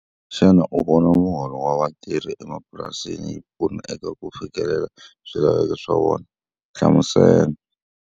Xana u vona muholo wa vatirhi emapurasini yi pfuna eka ku fikelela swilaveko swa vona? Hlamusela.